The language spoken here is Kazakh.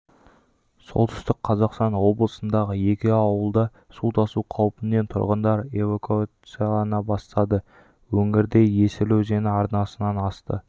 солтүстік қазақстан облысындағы екі ауылда су тасу қаупінен тұрғындар эвакуациялана бастады өңірде есіл өзені арнасынан асты